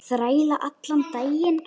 Þræla allan daginn!